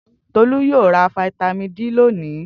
Tolú yóò ra fataímìn D lónìí.